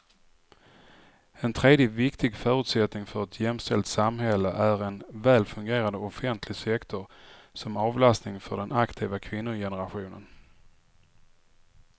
En tredje viktig förutsättning för ett jämställt samhälle är en väl fungerande offentlig sektor som avlastning för den aktiva kvinnogenerationen.